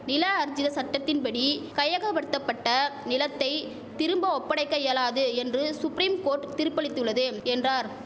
நில ஆர்ஜித சட்டத்தின்படி கையகபடுத்தபட்ட நிலத்தை திரும்ப ஒப்படைக்க இயலாது என்று சுப்ரீம் கோர்ட் திருப்பளித்துள்ளது என்றார்